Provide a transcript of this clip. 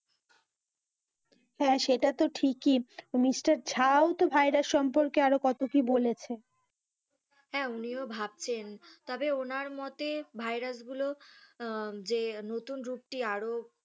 হ্যাঁ সেটা তো ঠিকই মিস্টার ঝাঁ ও তো virus সম্পর্কে আরও কত কি বলেছে হ্যাঁ উনিও ভাবছেন, তবে ওনার মতে virus গুলো যে নতুন রূপটি আরও,